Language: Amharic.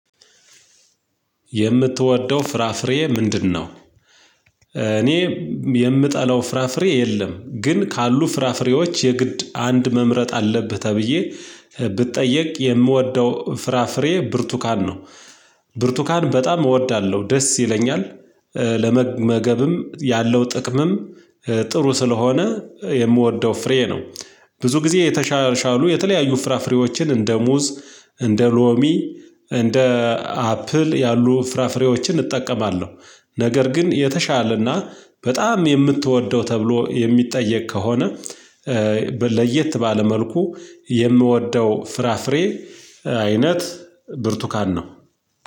የምትወደው ፍራፍሬ ምንድነው? እኔ የምጠላው ፍራፍሬ የለም ግን ካሉ ፍራፍሬዎች የግድ አንድ መምረጥ አለብህ ተብዬ ብጠየቅ የምወደው ፍራፍሬ ብርቱካን ነው። ብርቱካን በጣም እወዳለሁ ደስ ይለኛል። ያለው ጥቅምም ጥሩ ስለሆነ የምወደው ፍሬ ነው። ብዙ ጊዜ የተሻሻሉ የተለያዩ ፍራፍሬዎችን እንደ ሙዝ እንደ ሎሚ እንደ አፕል ያሉ ፍራፍሬዎችን እጠቀማለሁ። ነገር ግን የተሻለና በጣም የምትወደው ተብሎ የሚጠየቅ ከሆነ። ለየት ባለ መልኩ የምወደው ፍራፍሬ አይነት ብርቱካን ነው።